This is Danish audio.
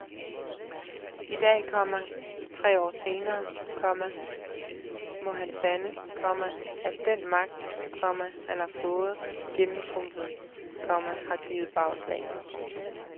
I dag, komma tre år senere, komma må han sande, komma at den magt, komma han har fået gennemtrumfet, komma har givet bagslag. punktum